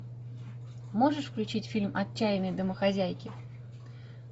можешь включить фильм отчаянные домохозяйки